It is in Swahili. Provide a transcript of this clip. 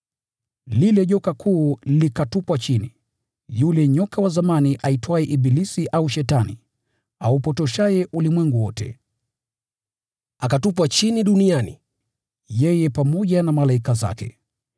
Lile joka kuu likatupwa chini, yule nyoka wa zamani aitwaye ibilisi au Shetani, aupotoshaye ulimwengu wote. Akatupwa chini duniani, yeye pamoja na malaika zake.